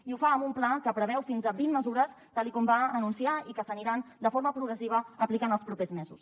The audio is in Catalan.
i ho fa amb un pla que preveu fins a vint mesures tal com va anunciar i que s’aniran de forma progressiva aplicant els propers mesos